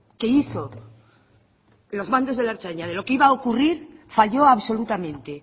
que hizo los mandos de la ertzaintza de lo que iba a ocurrir falló absolutamente